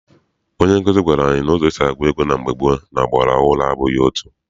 Onye nkuzi gwara anyị na ụzọ esi agụ ego na mgbe gboo na ọgbara ọhụrụ abụghị otu.